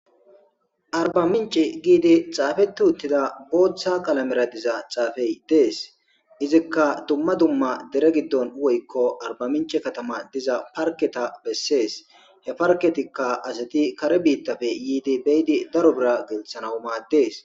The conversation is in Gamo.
arba minchi giidi xaafeti uttida booththa kalamera diza xaafey dees izikka dumma dumma dere giddon woykko arba minche katama diza parketa bessees he parketikka asati kare biittafe yiidi beydi daro bira gelthanaw maaddes